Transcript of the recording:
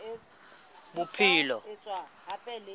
bophelong